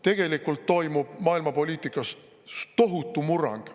Tegelikult toimub maailmapoliitikas tohutu murrang.